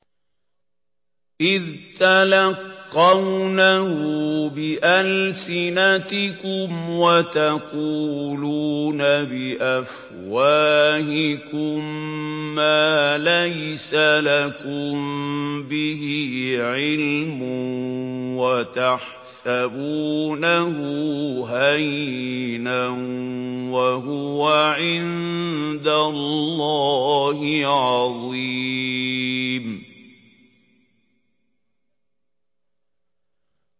إِذْ تَلَقَّوْنَهُ بِأَلْسِنَتِكُمْ وَتَقُولُونَ بِأَفْوَاهِكُم مَّا لَيْسَ لَكُم بِهِ عِلْمٌ وَتَحْسَبُونَهُ هَيِّنًا وَهُوَ عِندَ اللَّهِ عَظِيمٌ